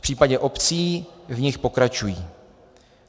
V případě obcí v nich pokračují.